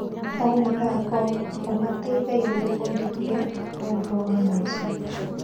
O mũthako ũmateithagia gwĩbundithia ũũgĩ wa maica.